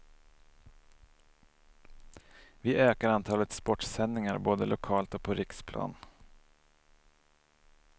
Vi ökar antalet sportsändningar både lokalt och på riksplan.